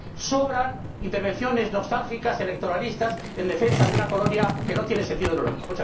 Sobran intervenciones nostálgicas, electoralistas, en defensa de una colonia que no tiene sentido en Europa.